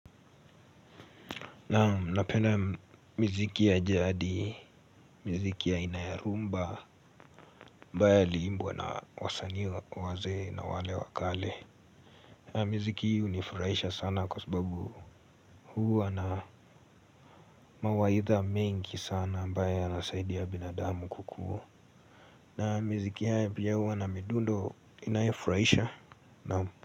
Naam, napenda miziki ya jadi, miziki ya aina ya rumba, ambayo iliimbwa na wasanii wazee na wale wakale. Miziki hii hunifurahisha sana kwa sababu huwa na, mawaidha mengi sana ambayo yanasaidia binadamu kukua. Na miziki haya pia huwu na midundo inayofurahisha.